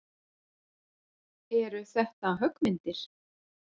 Eru þetta höggmyndir?